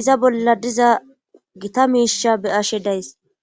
iza bolla diza gita miisha beyashe days